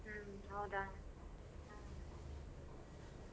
ಹ್ಮ್ ಹೌದಾ.